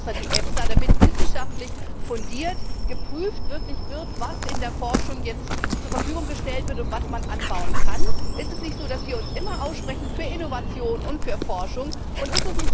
Haben wir nicht extra die EFSA, damit wirklich wissenschaftlich fundiert geprüft wird, was in der Forschung jetzt zur Verfügung gestellt wird und was man anbauen kann? Ist es nicht so, dass wir uns immer für Innovation und für Forschung aussprechen?